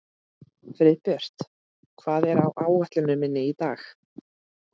Friðbjört, hvað er á áætluninni minni í dag?